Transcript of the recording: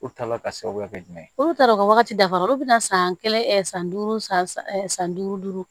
U taala ka sababu kɛ jumɛn ye olu taara o ka wagati dafa olu bɛ na san kelen san duuru san san duuru duuru